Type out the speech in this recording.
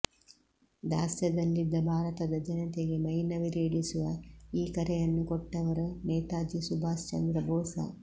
ದಾಸ್ಯದಲ್ಲಿದ್ದ ಭಾರತದ ಜನತೆಗೆ ಮೈನವಿರೇಳಿಸುವ ಈ ಕರೆಯನ್ನು ಕೊಟ್ಟವರು ನೇತಾಜಿ ಸುಭಾಷ್ ಚಂದ್ರ ಬೋಸ